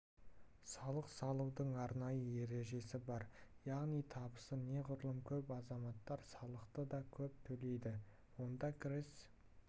салық салудың арнайы ережесі бар яғни табысы неғұрлым көп азаматтар салықты да көп төлейді онда кіріс